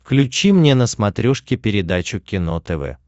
включи мне на смотрешке передачу кино тв